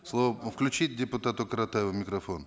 слово включите депутату каратаеву микрофон